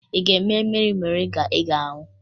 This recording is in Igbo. Ị ga-eme mmiri moringa ị ga-aṅụ?